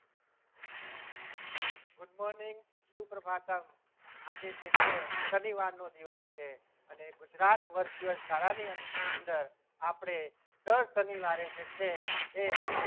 Good morning સુપ્રભાતમ્ આજે જે છે શનિવારનો દિવસ છે અને ગુજરાત Virtual શાળાની અંદર આપણે દર શનિવારે જે છે એ